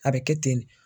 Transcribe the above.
A bɛ kɛ ten de